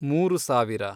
ಮೂರು ಸಾವಿರ